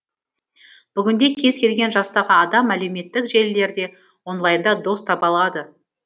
бүгінде кез келген жастағы адам әлеуметтік желілерде онлайнда дос таба алады